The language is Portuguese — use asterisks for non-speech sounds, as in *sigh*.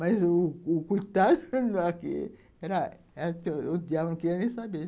Mas o o o coitado, *laughs* o diabo não queria nem saber.